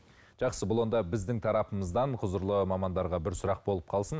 жақсы бұл онда біздің тарапымыздан құзырлы мамандарға бір сұрақ болып қалсын